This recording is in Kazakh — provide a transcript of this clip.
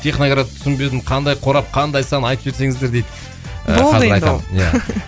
техноград түсінбедім қандай қорап қандай сан айтып жіберсеніздер дейді болды енді ол